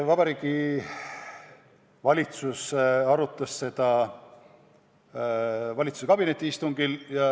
Vabariigi Valitsus arutas seda valitsuskabineti istungil.